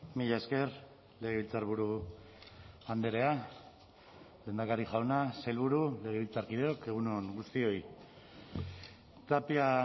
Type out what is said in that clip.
mila esker legebiltzarburu andrea lehendakari jauna sailburu legebiltzarkideok egun on guztioi tapia